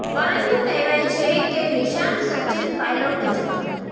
પરંતુ કહેવાય છે કે નિશાન સચિન પાયલોટ જ હતાં